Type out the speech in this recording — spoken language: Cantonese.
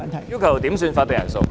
我要求點算法定人數。